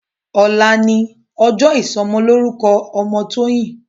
Òlá ni òjò isòmòlórúkò òmò Toyin